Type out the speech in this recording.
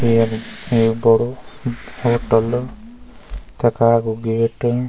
ये यख बडू होटल तखा कु गेट ।